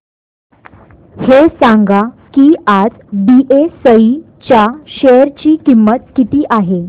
हे सांगा की आज बीएसई च्या शेअर ची किंमत किती आहे